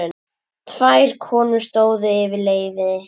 Tvær konur stóðu yfir leiði.